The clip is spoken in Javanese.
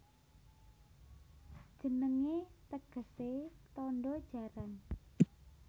Jenengé tegesé Tandha Jaran